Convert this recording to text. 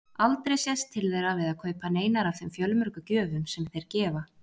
Aldrei sést til þeirra við að kaupa neinar af þeim fjölmörgu gjöfum sem þeir gefa.